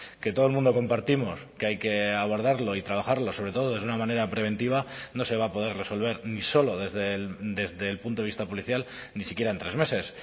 que todo el mundo compartimos que hay que abordarlo y trabajarlo sobre todo desde una manera preventiva no se va a poder resolver ni solo desde el punto de vista policial ni siquiera en tres meses